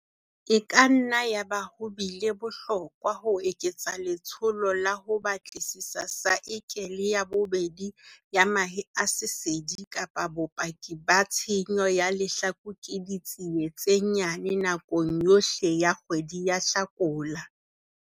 E ka nna yaba ho bile bohlokwa ho eketsa letsholo la ho batlisisa saekele ya bobedi ya mahe a sesedi kapa bopaki ba tshenyo ya lehlaku ke ditsie tse nyane nakong yohle ya kgwedi ya Hlakola.